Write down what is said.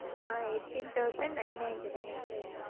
ah eighteen thousand nine ninety-nine ah sir